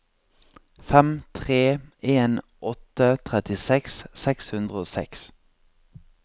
fem tre en åtte trettiseks seks hundre og seks